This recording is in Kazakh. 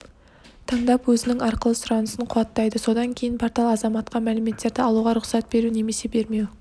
таңдап өзінің арқылы сұранысын қуаттайды содан кейін портал азаматқа мәліметтерді алуға рұқсат беру немесе бермеу